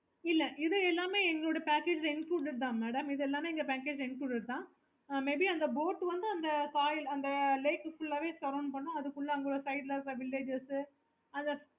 okay